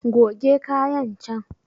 Goge kayan can